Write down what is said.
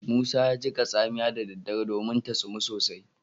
Musa ya jiƙa tsamiya da daddare domin ta tsumun sosai